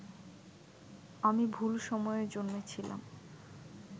আমি ভুল সময়ে জন্মেছিলাম